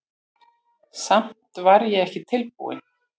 Samt var ég ekki tilbúinn.